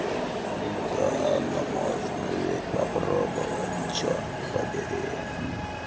да но можно ведь попробовать чёрт побери